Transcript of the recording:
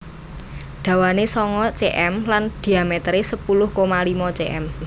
Dawane sanga cm lan dhiametere sepuluh koma limo cm